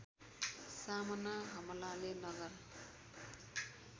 सामना हमलाले नगर